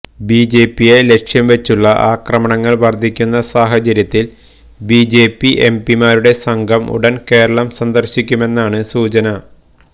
ബിജെപിയെ ലക്ഷ്യം വച്ചുള്ള ആക്രമണങ്ങള് വര്ധിക്കുന്ന സാഹചര്യത്തില് ബിജെപി എംപിമാരുടെ സംഘം ഉടന് കേരളം സന്ദര്ശിക്കുമെന്നാണ് സൂചന